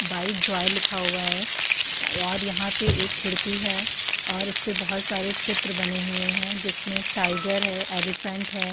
By Joy लिखा हुआ है और यहां पे एक खिड़की है और इसपे बहुत सारे चित्र बने हुए हैं जिसमे टायगर है एलीफैंट है।